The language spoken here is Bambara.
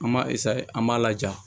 An b'a an b'a laja